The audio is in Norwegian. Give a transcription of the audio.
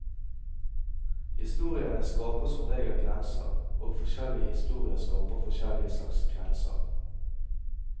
Historiene skaper som regel grenser, og forskjellige historier skaper forskjellige slags grenser.